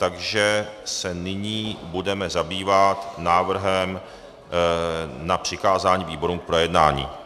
Takže se nyní budeme zabývat návrhem na přikázání výborům k projednání.